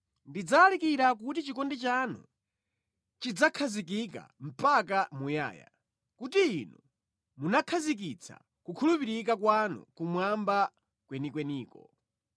Ndidzalalikira kuti chikondi chanu chidzakhazikika mpaka muyaya, kuti Inu munakhazikitsa kukhulupirika kwanu kumwamba kwenikweniko.